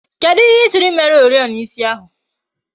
Kedụ ihe ịsị mere oriọna ịsị ahụ?